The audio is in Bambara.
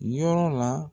Yɔrɔ la